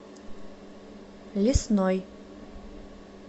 лесной